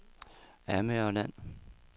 Amagerland